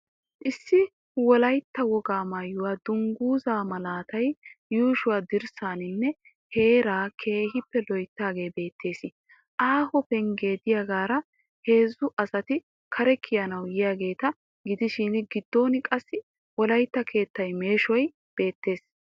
Issi wolaitta wogaa maayuwaa dungguzzaa malatiya yuusho dirssaanne heeraa keehiippe loyttoogee beetteees. Aaho penggee diyagaara heezzu asati kare kiyanawu yiyageeta gidshiin gidon qassi wolaytta keettay meeshshoy beettees.